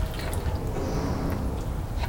полесском